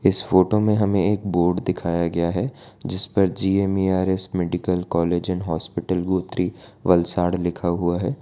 इस फोटो में हमें एक बोर्ड दिखाया गया है जिस पर GMRS medical college and hospital Gotri Valsad लिखा हुआ है।